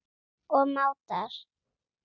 og mátar.